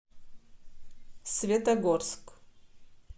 светогорск